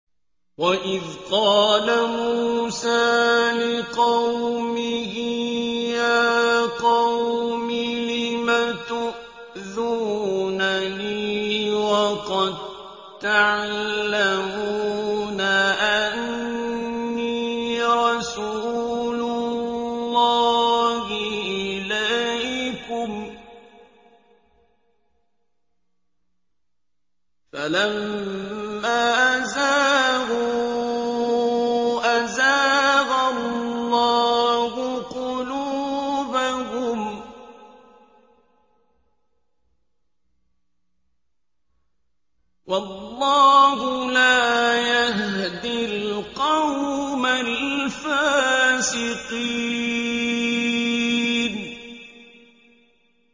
وَإِذْ قَالَ مُوسَىٰ لِقَوْمِهِ يَا قَوْمِ لِمَ تُؤْذُونَنِي وَقَد تَّعْلَمُونَ أَنِّي رَسُولُ اللَّهِ إِلَيْكُمْ ۖ فَلَمَّا زَاغُوا أَزَاغَ اللَّهُ قُلُوبَهُمْ ۚ وَاللَّهُ لَا يَهْدِي الْقَوْمَ الْفَاسِقِينَ